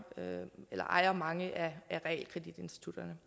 ejer mange af realkreditinstitutterne